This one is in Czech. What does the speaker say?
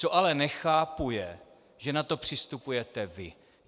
Co ale nechápu, je, že na to přistupujete vy.